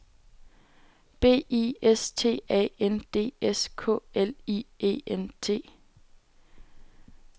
B I S T A N D S K L I E N T